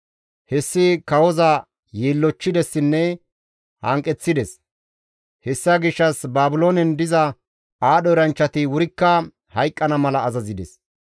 Hessi kawoza yiillochchidessinne hanqeththides; hessa gishshas Baabiloonen diza aadho eranchchati wurikka hayqqana mala azazides.